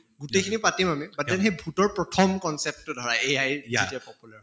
গোটেই খিনি পাতিম আমি সেই ভূতৰ প্ৰথম concept টো ধৰা AI যেতিয়া popular হʼল